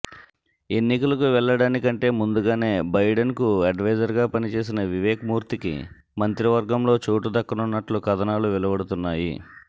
ఎన్నికలకు వెళ్లడానికంటే ముందుగానే బైడెన్కు అడ్వైజర్గా పనిచేసిన వివేక్ మూర్తికి మంత్రివర్గంలో చోటు దక్కనున్నట్లు కథనాలు వెలువడుతున్నాయి